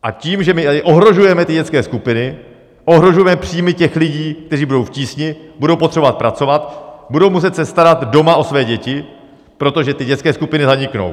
A tím, že my tady ohrožujeme ty dětské skupiny, ohrožujeme příjmy těch lidí, kteří budou v tísni, budou potřebovat pracovat, budou se muset starat doma o své děti, protože ty dětské skupiny zaniknou.